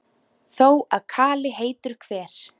Þó að kali heitur hver